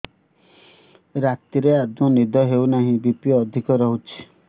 ରାତିରେ ଆଦୌ ନିଦ ହେଉ ନାହିଁ ବି.ପି ଅଧିକ ରହୁଛି